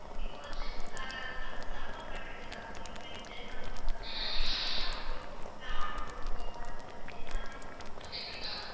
இப்ப வந்து அஹ் அதை support பண்றதுக்காக வேண்டி உக்ரைன்க்கு help பண்றதுக்காக வேண்டி நிறைய நாடு வந்து அவங்களோட ராணுவத்தை பணபலத்தை எல்லாமே வந்து கொடுத்துட்டுருக்காங்க.